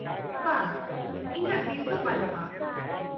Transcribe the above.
ᱵᱟᱝ, ᱤᱧᱟᱹᱜ ᱫᱤᱥᱟᱹ ᱵᱟᱹᱱᱩᱜᱼᱟ ᱾